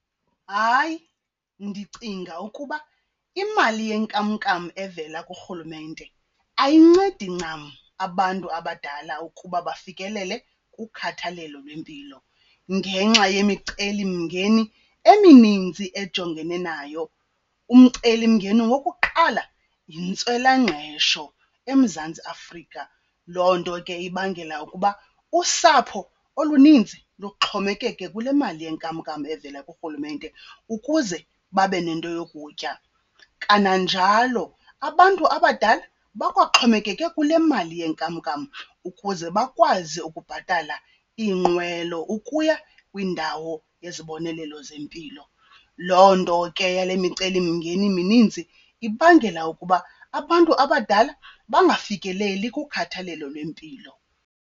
Hayi, ndicinga ukuba imali yenkamnkam evela kurhulumente ayincedi ncam abantu abadala ukuba bafikelele kukhathalelo lwempilo ngenxa yemicelimngeni eminintsi ejongene nayo. Umcelimngeni wokuqala yintswelangqesho eMzantsi Afrika, loo nto ke ibangela ukuba usapho oluninzi luxhomekeke kule mali yenkamnkam evela kurhulumente ukuze babe nento yokutya. Kananjalo abantu abadala bakwaxhomekeke kule mali yenkamnkam ukuze bakwazi ukubhatala iinqwelo ukuya kwindawo yezibonelelo zempilo. Loo nto ke yale micelimngeni mininzi ibangela ukuba abantu abadala bangafikeleli kukhathalelo lwempilo.